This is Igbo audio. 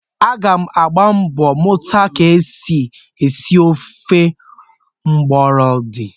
Aga m agba mbọ mụta ka e si esi ofe mgbọlọdị